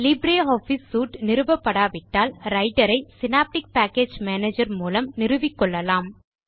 Libre office suite நிறுவப்படாவிட்டால் Writer ஐ Synaptic package manager மூலம் நிறுவிக்கொள்ளலாம்